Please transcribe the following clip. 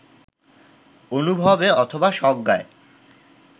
অনুভবে অথবা সজ্ঞায়